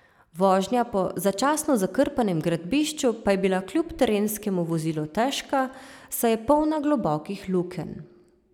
Vožnja po začasno zakrpanem gradbišču pa je bila kljub terenskemu vozilu težka, saj je polna globokih lukenj.